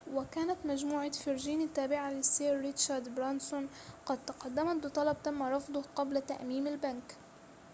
وكانت مجموعة فيرجين التابعة للسير ريتشارد برانسون قد تقدمت بطلب تم رفضه قبل تأميم البنك